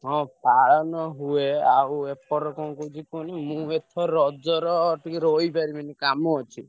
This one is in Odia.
ହଁ ପାଳନ ହୁଏ ଆଉ ଏପଟରେ କଣ କହୁଛି ମୁଁ ଏଥର ରଜର ଟିକେ ରହିପାରିବେନି କାମ ଅଛି।